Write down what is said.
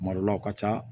Kuma dɔ la o ka ca